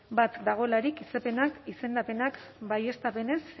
bat dagoelarik izendapenak baieztapenez